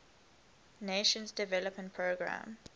nations development programme